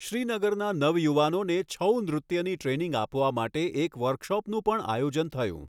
શ્રીનગરના નવયુવાનોને છઉ નૃત્યની ટ્રેનિંગ આપવા માટે એક વર્કશોપનું પણ આયોજન થયું.